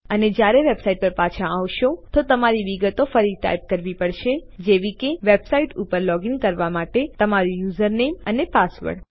અને જ્યારે તમે વેબસાઇટ પર પાછા આવો છો તો તમારી વિગતો ફરી ટાઇપ કરવી પડશે જેવી કે વેબસાઇટ ઉપર લોગીન કરવા માટે તમારું યુઝરનેમ અને પાસવર્ડ